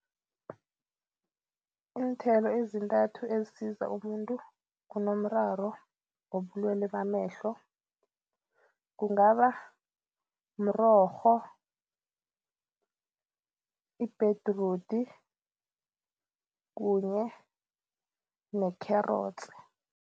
Iinthelo ezintathu ezisiza umuntu onomraro wobulwele bamehlo kungaba mrorho, ibhedrudi kunye ne-carrots.